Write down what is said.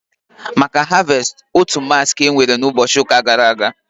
Maka Harvestị, otu massị ka enwere na ụbọchị ụka gara aga